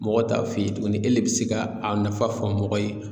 Mɔgɔ t'a f'i ye tuguni e de bɛ se ka a nafa fɔ mɔgɔ ye